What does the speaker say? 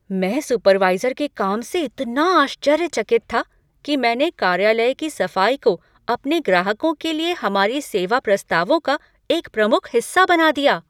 मैं सुपरवाइज़र के काम से इतना आश्चर्यचकित था कि मैंने कार्यालय की सफ़ाई को अपने ग्राहकों के लिए हमारे सेवा प्रस्तावों का एक प्रमुख हिस्सा बना दिया।